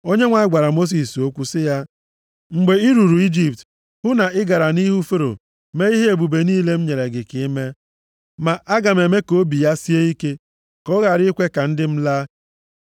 Onyenwe anyị gwara Mosis okwu sị ya, “Mgbe i ruru Ijipt, hụ na ị gara nʼihu Fero mee ihe ebube niile m nyere gị ike ime. Ma aga m eme ka obi ya sie ike, ka ọ ghara ikwe ka ndị m laa.